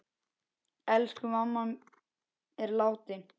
Elsku mamma er látin.